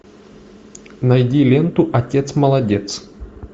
найди ленту отец молодец